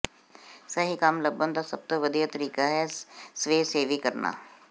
ਸਹੀ ਕੰਮ ਲੱਭਣ ਦਾ ਸਭ ਤੋਂ ਵਧੀਆ ਤਰੀਕਾ ਹੈ ਸਵੈਸੇਵੀ ਕਰਨਾ